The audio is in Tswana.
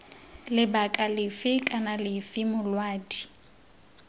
lebaka lefe kana lefe molaodi